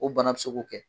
O bana bɛ se k'o kɛ